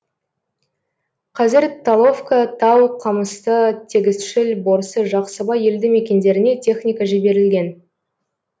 қазір таловка тау қамысты тегісшіл борсы жақсыбай елді мекендеріне техника жіберілген